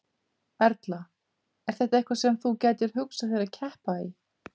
Erla: Er þetta eitthvað sem þú gætir hugsað þér að keppa í?